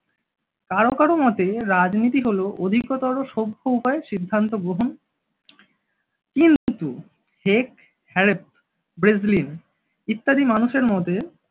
কারও কারও মতে রাজনীতি হল অধিকতর সভ্য উপায়ে সিদ্ধান্ত গ্রহণ, কিন্তু হেগ হ্যারপ ব্রেসলিন ইত্যাদি মানুষের মতে